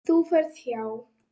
Þú ferð hjá